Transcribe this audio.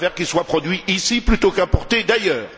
Je préfère qu'il soit produit ici plutôt qu'importé d'ailleurs.